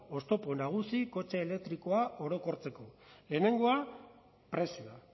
oztopo nagusi kotxe elektrikoa orokortzeko lehenengoa prezioa